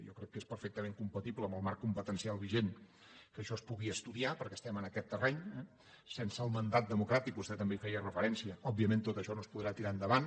jo crec que és perfectament compatible amb el marc competencial vigent que això es pugui estudiar perquè estem en aquest terreny eh sense el mandat democràtic vostè també hi feia referència òbviament tot això no es podrà tirar endavant